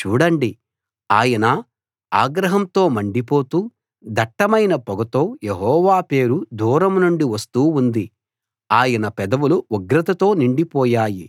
చూడండి ఆయన ఆగ్రహంతో మండిపోతూ దట్టమైన పొగతో యెహోవా పేరు దూరం నుండి వస్తూ ఉంది ఆయన పెదవులు ఉగ్రతతో నిండి పోయాయి